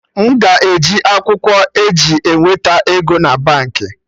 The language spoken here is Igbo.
M ga eji akwụkwọ e ji eweta ego na Baankị?